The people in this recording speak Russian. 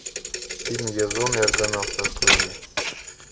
фильм язон и аргонавты открой мне